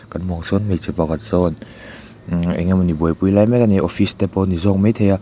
kan hmuh ang sawn hmeichhe pakhat sawn ummm engemawni buaipui lai mek ani a office te pawh ani zawk maithei a.